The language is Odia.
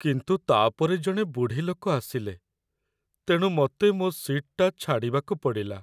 କିନ୍ତୁ ତା'ପରେ ଜଣେ ବୁଢ଼ୀ ଲୋକ ଆସିଲେ, ତେଣୁ ମତେ ମୋ' ସିଟ୍‌ଟା ଛାଡ଼ିବାକୁ ପଡ଼ିଲା ।